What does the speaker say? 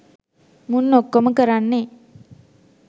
මුන් ඔක්කොම කරන්නේ